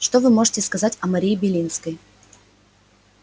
что вы можете сказать о марии белинской